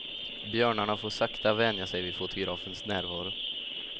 Björnarna får sakta vänja sig vid fotografens närvaro.